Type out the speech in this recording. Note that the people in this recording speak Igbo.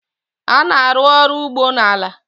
a na-arụ ọrụ ugbo na ala